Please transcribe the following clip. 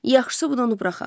Yaxşısı, bunu buraxaq.